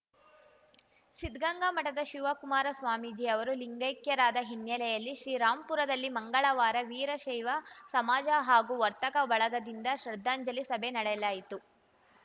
ಸಿದ್ಧಗಂಗಾ ಮಠದ ಶಿವಕುಮಾರ ಸ್ವಾಮೀಜಿ ಅವರು ಲಿಂಗೈಕ್ಯರಾದ ಹಿನ್ನೆಲೆಯಲ್ಲಿ ಶ್ರೀರಾಂಪುರದಲ್ಲಿ ಮಂಗಳವಾರ ವೀರಶೈವ ಸಮಾಜ ಹಾಗೂ ವರ್ತಕ ಬಳಗದಿಂದ ಶ್ರದ್ಧಾಂಜಲಿ ಸಭೆ ನಡೆಯಲಾಯಿತು